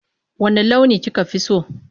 Wanne launi kika fi so?